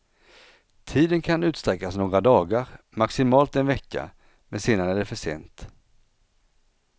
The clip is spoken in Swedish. Tiden kan utsträckas några dagar, maximalt en vecka, men sedan är det för sent.